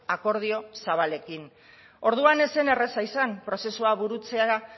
akordio zabalekin orduan ez zen erreza izan prozesua burutzeak